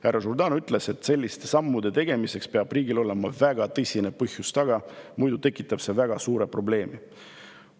Härra Jourdan ütles, et selliste sammude tegemiseks peab riigil olema väga tõsine põhjus, muidu tekitab see väga suure probleemi.